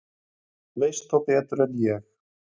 Þú veist þá betur en ég.